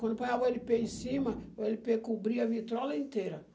Quando põe a o ele pê em cima, o ele pê cobria a vitrola inteira.